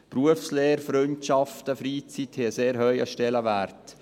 Berufslehre, Freundschaften, Freizeit haben einen sehr hohen Stellenwert.